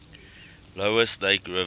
lower snake river